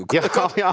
hvað